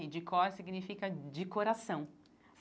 E de cor significa de coração.